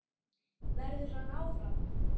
Verður hann áfram?